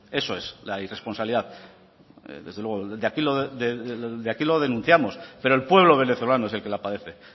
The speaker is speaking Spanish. eso es la irresponsabilidad desde luego de aquí lo denunciamos pero el pueblo venezolano es el que la padece